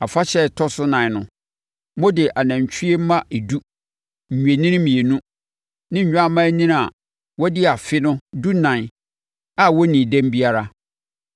“ ‘Afahyɛ a ɛtɔ so nan no, mode anantwie mma edu, nnwennini mmienu, ne nnwammaanini a wɔadi afe no dunan a wɔnnii dɛm biara